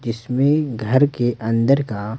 जिसमें घर के अंदर का --